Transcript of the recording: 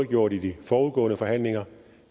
gjort i de forudgående forhandlinger